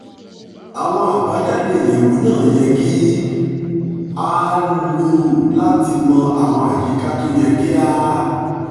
àwọn àbájáde ìyẹwò náà yẹ kí a lò lò láti mọ àwọn àyíká tó yẹ kí a